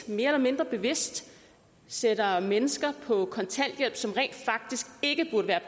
mere eller mindre bevidst sætter mennesker på kontanthjælp som rent faktisk ikke burde være